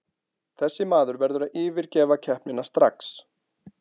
Þessi maður verður að yfirgefa keppnina strax.